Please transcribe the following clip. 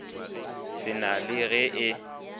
se na le ge e